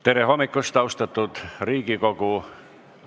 Tere hommikust, austatud Riigikogu!